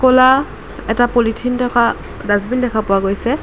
ক'লা এটা পলিথিন থকা ডাছবিন দেখা পোৱা গৈছে।